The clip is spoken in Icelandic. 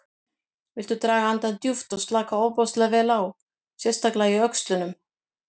Viltu draga andann djúpt og slaka ofboðslega vel á, sérstaklega í öxlunum.